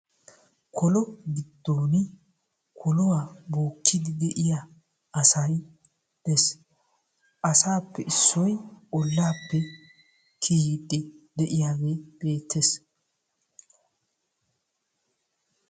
Kolo giddoon koluwa bookkiyddi de'iya asay dees. Asaappe issoy ollaappe kiyiyddi de'iyagee beettees.